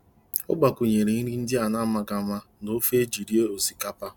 Ọ gbakwụnyere nri ndị a na-amaghị ama na ofe eji eri osikapa.